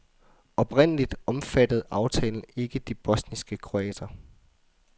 Oprindeligt omfattede aftalen ikke de bosniske kroater.